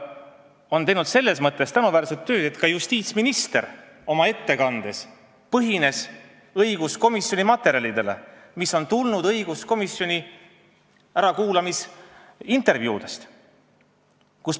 Õiguskomisjon on teinud selles mõttes tänuväärset tööd, et ka justiitsminister tugines oma ettekandes õiguskomisjoni materjalidele, mis on koostatud õiguskomisjoni ärakuulamisintervjuude põhjal.